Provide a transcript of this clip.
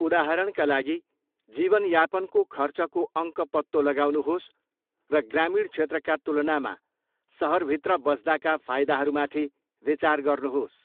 उदाहरणका लागि, जीवनयापनको खर्चको अङ्क पत्तो लगाउनुहोस् र ग्रामीण क्षेत्रका तुलनामा सहरभित्र बस्दाका फाइदाहरूमाथि विचार गर्नुहोस्।